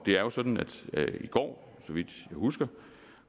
er jo sådan at nordea i går så vidt jeg husker